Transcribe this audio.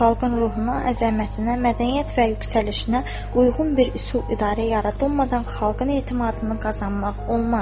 Xalqın ruhuna, əzəmətinə, mədəniyyət və yüksəlişinə uyğun bir üsul idarə yaradılmadan xalqın etimadını qazanmaq olmaz.